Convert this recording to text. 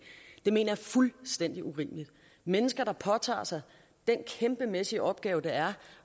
mener fuldstændig urimeligt mennesker der påtager sig den kæmpemæssige opgave det er